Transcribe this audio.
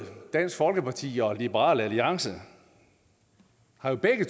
dansk folkeparti og liberal alliance har jo begge